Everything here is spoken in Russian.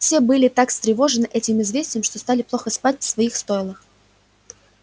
все были так встревожены этим известием что стали плохо спать в своих стойлах